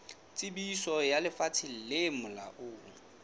tsebiso ya lefapha le molaong